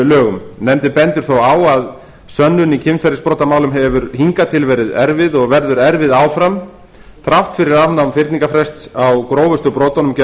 lögum nefndin bendir á að sönnun í kynferðisbrotamálum hefur hingað til verið erfið og verður erfið áfram þrátt fyrir afnám fyrningarfrests á grófustu brotunum gegn